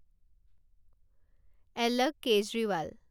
এলক Kejriwal